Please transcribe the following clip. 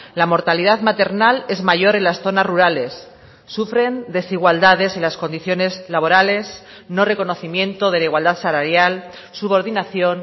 la mortalidad maternal es mayor en las zonas rurales sufren desigualdades en las condiciones laborales no reconocimiento de la igualdad salarial subordinación